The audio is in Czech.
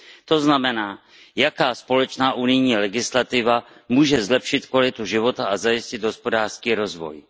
To znamená, jaká společná unijní legislativa může zlepšit kvalitu života a zajistit hospodářský rozvoj.